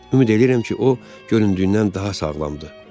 Ümid eləyirəm ki, o göründüyündən daha sağlamdır.